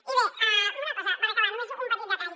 i bé una cosa per acabar només un petit detall